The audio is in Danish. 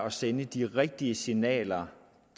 at sende de rigtige signaler